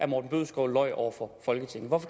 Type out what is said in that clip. morten bødskov løj over for folketinget hvorfor